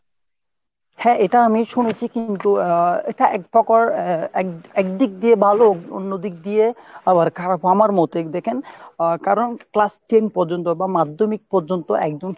হ্যাঁ এটা আমি শুনেছি কিন্তু এটা এক প্রকার এক একদিক দিয়ে ভালো। অন্যদিকে দিয়ে আবার খারাপ আমার মতে। দ্যাখেন আহ কারণ class ten পর্যন্ত বা মাধ্যমিক পর্যন্ত একদম